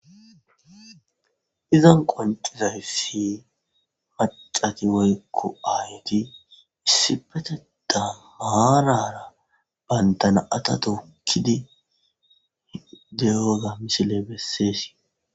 izan qoncizaysi macati woykko ayti issi peteda maarara bayntana7ata tokkidi deyoza misile besseesi